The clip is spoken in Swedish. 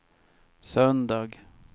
söndag